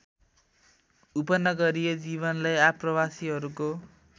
उपनगरीय जीवनलाई आप्रवासीहरूको